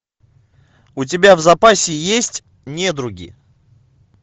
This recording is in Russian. у тебя в запасе есть недруги